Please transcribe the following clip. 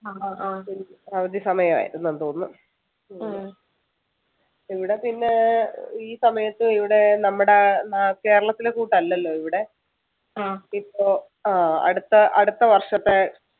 അവധി സമയം ആണെന്ന് തോന്നുന്നു ഇവിട പിന്നെ ഈ സമയത്ത് ഇവിടെ നമ്മുടെ നാ കേരളത്തിലെ കൂട്ടല്ലല്ലോ ഇവിടെ ഇപ്പൊ ആഹ് അടുത്ത അടുത്ത വർഷത്തെ